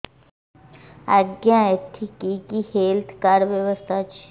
ଆଜ୍ଞା ଏଠି କି କି ହେଲ୍ଥ କାର୍ଡ ବ୍ୟବସ୍ଥା ଅଛି